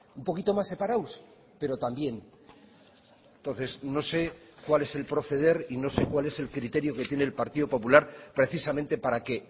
un poquito más separados pero también entonces no sé cuál es el proceder y no sé cuál es el criterio que tiene el partido popular precisamente para que